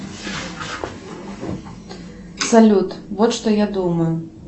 салют вот что я думаю